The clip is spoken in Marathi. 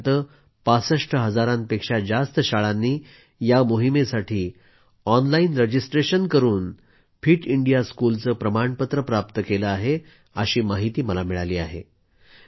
आत्तापर्यंत 65हजारांपेक्षा जास्त शाळांनी या मोहिमेसाठी ऑनलाईन रजिस्ट्रेशन करून फिट इंडिया स्कूलचे प्रमाणपत्र प्राप्त केले आहे अशी माहिती मला मिळाली आहे